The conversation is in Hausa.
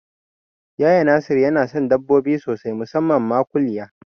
Yaya Nasiru yana son dabbobi sosai musamman ma kuliya